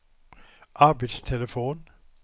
arbetstelefon